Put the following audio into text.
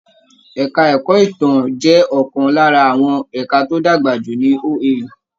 Ẹka ẹ̀kọ́ ìtàn jẹ́ ọ̀kan lára àwọn ẹka tó dàgbà jù ní OAU.